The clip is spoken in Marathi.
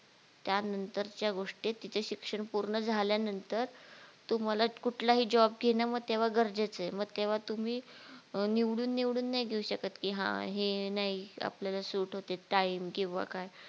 त्या नंतरच्या गोष्टीत तिथं शिक्षण पूर्ण झाल्या नंतर तुम्हाला कुठलाही job घेणं मग तेव्हा गरजेचय मग तेव्हा तुम्ही निवडून निवडून नाय घेऊ शकत की हा हे नाय आपल्याला सुट होत ते time किंवा काय